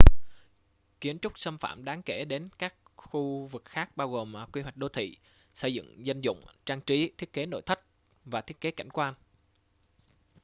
kiến trúc xâm phạm đáng kể đến các khu vực khác bao gồm quy hoạch đô thị xây dựng dân dụng trang trí thiết kế nội thất và thiết kế cảnh quan